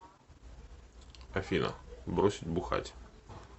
афина бросить бухать